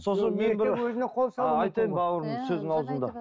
сосын мен бір айтайын бауырым сөзің аузыңда